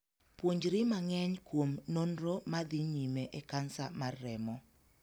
Puonjri mang'eny kuom nonro ma dhii nyime e kansa mar remo.